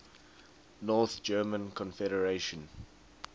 north german confederation